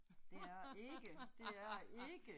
Det er ikke, det er ikke